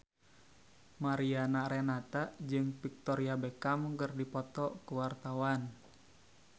Mariana Renata jeung Victoria Beckham keur dipoto ku wartawan